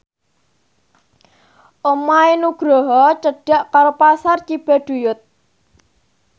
omahe Nugroho cedhak karo Pasar Cibaduyut